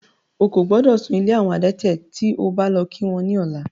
Ó kò gbọ́dọ̀ sún ilé àwọn adẹ́tẹ̀ tí o bá lọ kí wọ́n ní ọ̀la.